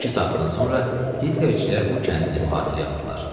İki saatdan sonra Hitlerçilər bu kəndi də mühasirəyə aldılar.